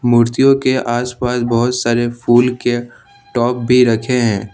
मूर्तियों के आसपास बहुत सारे फूल के टॉप भी रखे हैं ।